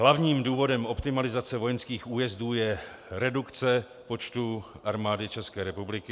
Hlavním důvodem optimalizace vojenských újezdů je redukce počtu Armády České republiky.